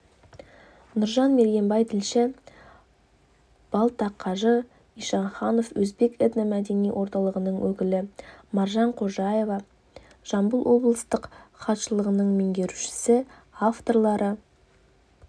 нұржан мергенбай тілші балтақажы ишанханов өзбек этно-мәдени орталығының өкілі маржан қожаева жамбыл облыстық хатшылығының меңгерушісі авторлары